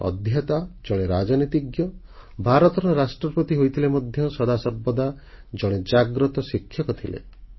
ଜଣେ ଅଧ୍ୟେତା ଜଣେ ରାଜନୀତିଜ୍ଞ ଭାରତର ରାଷ୍ଟ୍ରପତି ହୋଇଥିଲେ ମଧ୍ୟ ସଦାସର୍ବଦା ଜଣେ ଜାଗ୍ରତ ଶିକ୍ଷକ ଥିଲେ